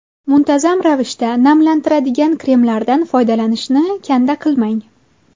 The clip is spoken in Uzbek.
Muntazam ravishda namlantiradigan kremlardan foydalanishni kanda qilmang.